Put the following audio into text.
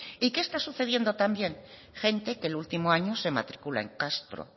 y qué está sucediendo también gente que el último año se matricula en castro